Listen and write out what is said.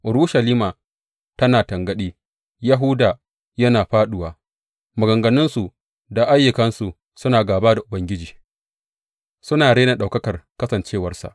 Urushalima tana tangaɗi, Yahuda yana fāɗuwa; maganganunsu da ayyukansu suna gāba da Ubangiji, suna rena ɗaukakar kasancewarsa.